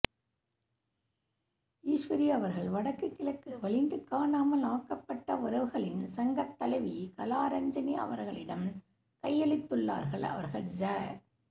ஈஸ்வரி அவர்கள் வடக்கு கிழக்கு வலிந்து காணாமல் ஆக்கப்பட்ட உறவுகளின் சங்க தலைவி கலாராஞ்சினி அவர்களிடம் கையளித்துள்ளார்கள் அவர்கள் ஜ